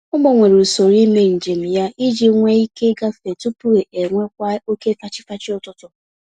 Ọ gbanwere usoro ímé njem ya iji nwe ike igafe tupu enwewa oke fachi-fachi ụtụtụ